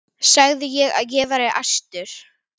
sagði ég og var æstur.